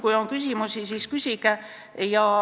Kui on küsimusi, siis küsige.